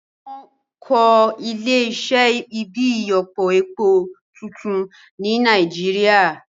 Wọ́n á kọ́ Ilé iṣẹ́ ibi ìyọpọ epo tuntun ní Nàìjíríà